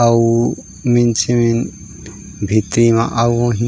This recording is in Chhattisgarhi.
अउ मिनसे मन भीतरी म आउ होही--